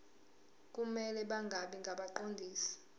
kumele bangabi ngabaqondisi